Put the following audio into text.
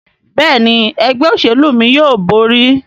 Béèni Ẹgbẹ́ òṣèlú mí yóò bóri.